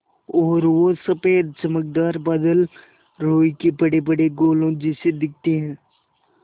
और वो सफ़ेद चमकदार बादल रूई के बड़ेबड़े गोलों जैसे दिखते हैं